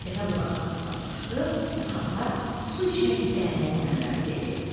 Dəvə bulaqdan uzaqlaşdı, uşaqlar su içmək istəyəndə nənələri dedi: